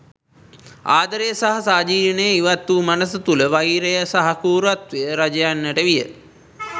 ආදරය සහ සහජීවනය ඉවත්වූ මනස තුළ වෛරය සහ කෲරත්වය රජයන්නට විය.